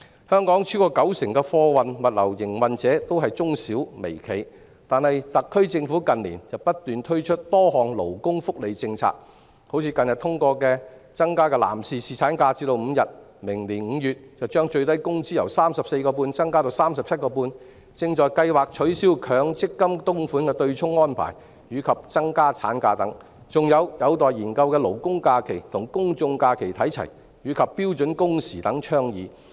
香港超過九成的貨運物流營運者均為中小微企，但特區政府近年不斷推出多項勞工福利政策，例如近日通過的增加男士侍產假至5天、明年5月把法定最低工資由 34.5 元增至 37.5 元、正在計劃取消強制性公積金供款的對沖安排，以及增加產假等，還有尚待研究的勞工假期與公眾假期看齊，以及標準工時等倡議。